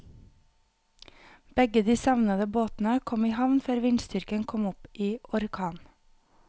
Begge de savnede båtene kom i havn før vindstyrken kom opp i orkan.